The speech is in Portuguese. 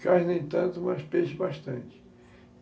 Quase nem tanto, mas peixe bastante.